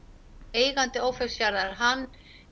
eigandi Ófeigsfjarðar hann